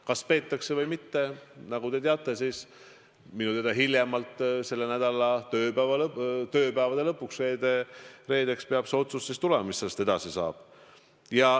Kas peetakse või mitte, nagu te teate, siis minu teada hiljemalt selle nädala tööpäevade lõpuks, st reedeks peab see otsus tulema, mis sellest edasi saab.